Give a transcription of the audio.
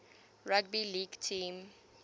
rugby league team